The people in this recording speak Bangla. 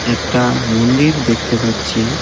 একটা মন্দির দেখতে পাচ্ছি।